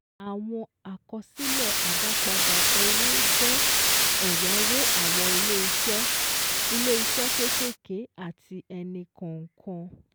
Àwọn àkọsílẹ̀ àdápadà owó jẹ́ ẹ̀yáwó àwọn ilé-iṣẹ́ ilé-iṣẹ́ kékèké àti ẹnì kọ̀ọ̀kan